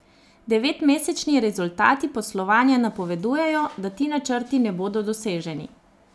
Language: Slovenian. Devetmesečni rezultati poslovanja napovedujejo, da ti načrti ne bodo doseženi.